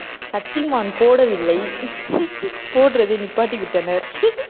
சக்திமான் போடவில்லை போடறதை நிப்பாட்டிவிட்டனர்